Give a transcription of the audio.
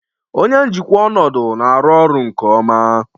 Onye njikwa ọnọdụ na-arụ ọrụ nke ọma